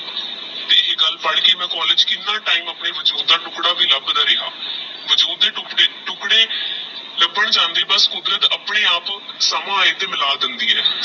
ਇਹ ਗਲ ਬਣ ਗਯੀ ਮੈ college ਕੀਨਾ time ਆਪਣੇ ਵਜੂਦ ਦਾ ਟੁਕੜਾ ਵੀ ਲਬਦਾ ਰਿਹਾ ਵਜੂਦ ਦੇ ਟੋਕਦੇ ਲਬਾਂ ਜਾਂਦਾ ਤੇਹ ਕੁਦਰਤ ਆਪਣੇ ਆਪ ਦਾ ਸਮਾਂ ਮਿਲਾ ਦੇਂਦੀ ਆਹ